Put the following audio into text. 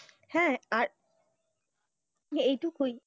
হেঁ, আর, এইটুকুই,